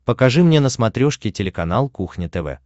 покажи мне на смотрешке телеканал кухня тв